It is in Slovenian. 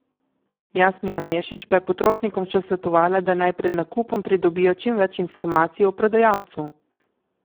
Jasmina Mešić pa je potrošnikom še svetovala, da naj pred nakupom pridobijo čim več informacij o prodajalcu.